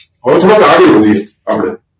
હવે થોડાક આગળ વધીએ આપડે